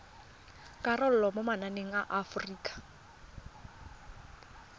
karolo mo mananeng a aforika